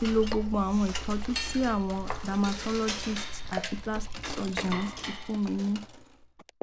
mo ti lo gbogbo àwọn ìtọjú tí àwọn tí àwọn dermatologists àti plastic surgeons ti fún mi ní